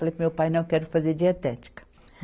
Falei paro meu pai, não, eu quero fazer dietética.